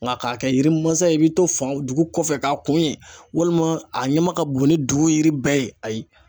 Nka k'a kɛ yiri mansa ye i bɛ to fan dugu kɔfɛ k'a kun ye walima a ɲama ka bon ni dugu yiri bɛɛ ye ayi.